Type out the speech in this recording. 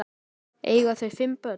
Eiga þau fimm börn.